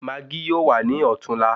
Maágí yóò wà ní ọ̀tún la